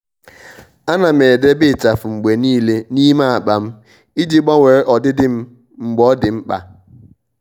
à nà m edèbè ịchafụ mgbe nìile n’ímé ákpá m iji gbanwee ọdịdị m mgbe ọ́ dị́ mkpa.